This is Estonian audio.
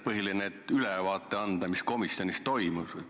Põhiline on ju ülevaade anda, mis komisjonis toimus.